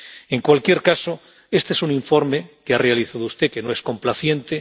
En cualquier caso, este es un informe que ha realizado usted, que no es complaciente.